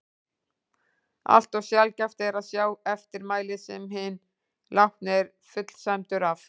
Allt of sjaldgæft er að sjá eftirmæli sem hinn látni er fullsæmdur af.